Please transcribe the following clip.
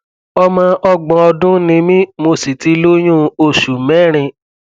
ọmọ ọgbọn ọdún ni mí mo sì ti lóyún oṣù mẹrin